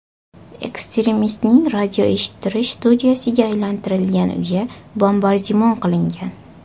Ekstremistning radioeshittirish studiyasiga aylantirilgan uyi bombardimon qilingan.